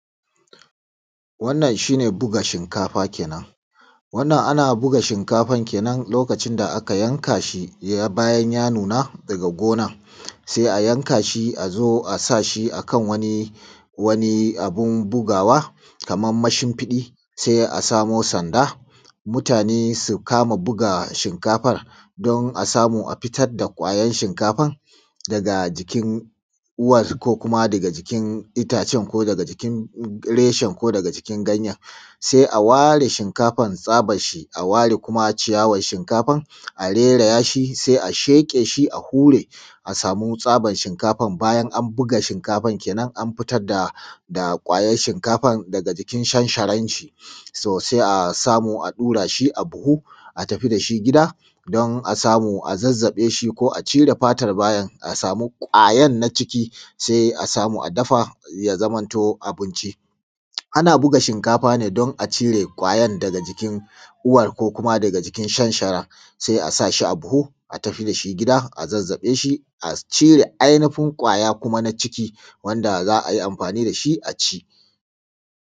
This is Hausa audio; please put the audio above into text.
Wannan shi ne buga shinkafa kenan wannan ana buga shinkafa ne kenan a lokacin da aka yanka shi bayan ya nuna daga gona sai a yanka shi a zo a sa shi a kan wani abun bugawa, kaman mashinfiɗi. Sai a samo sanda, mutane su kama buga shinkafa, don a samu a fitar da ƙwayan shinkafa daga jikin uwan, ko kuma daga jikin itacen, ko kuma daga jikin reshen, ko kuma daga jikin ganyen. sai a ware shinkafan, tsabar shi, a ware kuma ciyawar shinkafan, a reraya shi, sai a sheƙe shi, a hure shi, a samu tsaban shinkafa. bayan an buga shinkafan kenan, an fitar da ƙwayan shinkafan daga jikin shansharan shi, sai a samu a ɗaura shi a buhu, a tafi da shi gida, don a samu a zazzabe shi ko a cire fatar. bayan an samu ƙwayar daga ciki, sai a samu a dafa shi, ya zamanto abinci. ana buga shinkafa ne don a cire ƙwayan daga jikin uwan, ko kuma daga jikin shansharan. sai a sa shi a buhu, a tafi da shi gida, a zazzabe shi, a cire ainifin ƙwaya na ciki, wanda za a yi amfani da shi a ci.